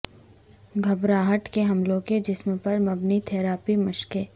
گھبراہٹ کے حملوں کے جسم پر مبنی تھراپی مشقیں